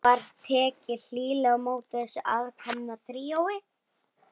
Var tekið hlýlega á móti þessu aðkomna tríói.